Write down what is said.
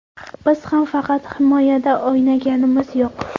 Biz ham faqat himoyada o‘ynaganimiz yo‘q.